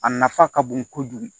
A nafa ka bon kojugu